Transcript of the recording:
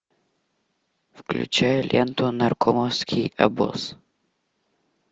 включай ленту наркомовский обоз